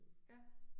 Ja